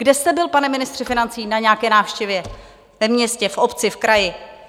Kde jste byl, pane ministře financí, na nějaké návštěvě ve městě, v obci, v kraji?